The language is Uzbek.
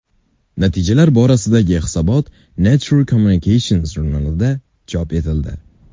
Natijalar borasidagi hisobot Nature Communications jurnalida chop etildi.